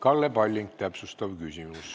Kalle Palling, täpsustav küsimus.